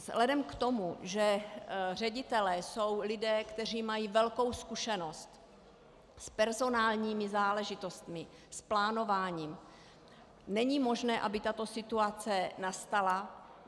Vzhledem k tomu, že ředitelé jsou lidé, kteří mají velkou zkušenost s personálními záležitostmi, s plánováním, není možné, aby tato situace nastala.